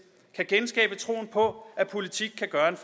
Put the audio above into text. kan genskabe troen på at politik kan gøre en